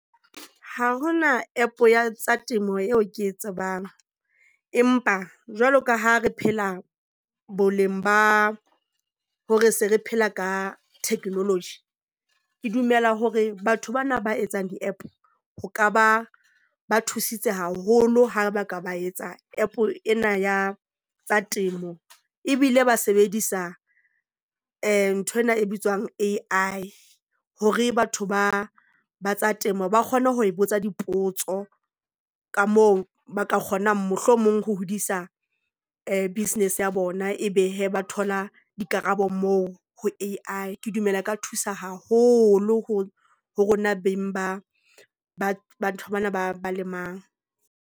Ha ho na App ya temo eo ke e tsebang. Empa jwalo ka ha re phela boleng ba hore se re phela ka technology, ke dumela hore batho bana ba etsang di-App. Ho ka ba ba thusitse haholo ha ba ka ba etsa App ena ya temo ebile ba sebedisa nthwena e bitswang A_I hore batho ba tsa temo ba kgone ho botsa dipotso ka moo ba ka kgonang, mohlomong ho hodisa ee business ya bona. Ebe hee ba thola dikarabo moo ho A_I. Ke dumela e ka thusa haholo ho ho rona beng ba ba ba ntho bana ba ba lemang.